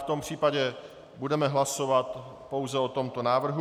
V tom případě budeme hlasovat pouze o tomto návrhu.